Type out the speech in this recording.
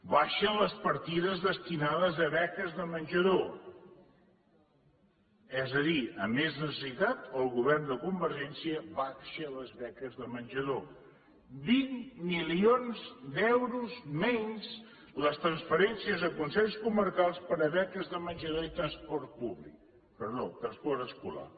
baixen les partides destinades a beques de menjador és a dir a més necessitat el govern de convergència abaixa les beques de menjador vint milions d’euros menys les transferències a consells comarcals per a beques de menjador i transport escolar